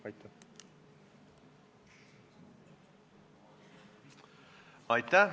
Aitäh!